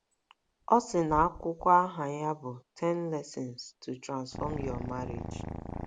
O si n’akwụkwọ aha ya bụ Ten Lessons to Transform Your Marriage.